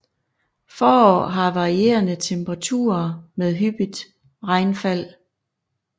Forår har varierende temperaturer med hyppigt regnfald